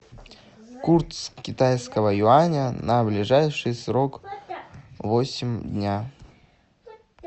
курс китайского юаня на ближайший срок восемь дня